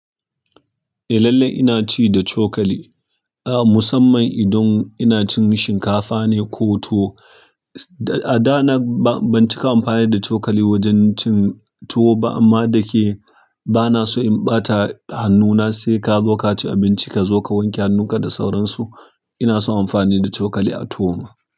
Eh lallai ina ci da cokali, ah musamman idan ina cin shinkafa ne ko tuwo. A da na ba, ban cika amfani da cokali wajen cin tuwo ba amma da ke ba na so in ɓata hannuna sai ka zo ka ci abinci, ka zo ka wanke hannunka da sauransu. Ina son amfani da cokali a tuwoma.